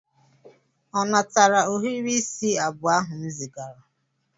Ọ natara ohiri isi abụọ ahu m zigara?